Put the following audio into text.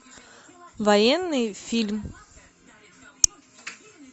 военный фильм